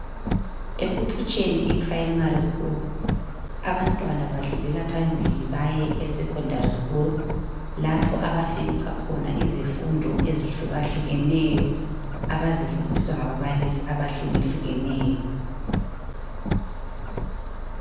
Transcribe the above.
Ekuphutsheni ePrimary school abantwana badlulela phambili baye esecondary school lapha abafica khona izifundo ezihlukahlukeneyo abazifundiswa ngababalisisi bahlukehlukeneyo